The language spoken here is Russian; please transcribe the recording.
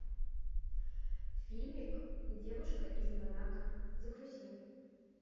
фильмик девушка из монако загрузи